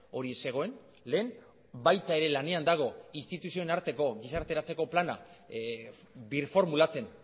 hori zegoen lehen baita ere lanean dago instituzioen arteko gizarteratzeko plana birformulatzen